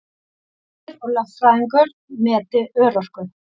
Læknir og lögfræðingur meti örorku